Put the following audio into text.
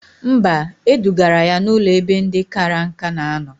Mba, edugara ya n'ụlọ ebe ndị kara nka na anọ